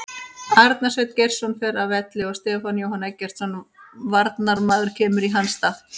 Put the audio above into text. Arnar Sveinn Geirsson fer af velli og Stefán Jóhann Eggertsson varnarmaður kemur í hans stað.